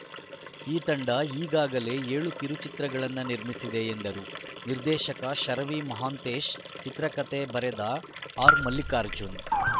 ಈ ತಂಡ ಈಗಾಗಲೇ ಏಳು ಕಿರುಚಿತ್ರಗಳನ್ನು ನಿರ್ಮಿಸಿದೆ ಎಂದರು ನಿರ್ದೆಶಕ ಶರವಿ ಮಹಾಂತೇಶ್‌ ಚಿತ್ರಕಥೆ ಬರೆದ ಆರ್‌ಮಲ್ಲಿಕಾರ್ಜುನ್‌